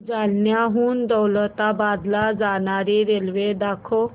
जालन्याहून दौलताबाद ला जाणारी रेल्वे दाखव